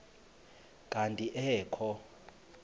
kanti ee kho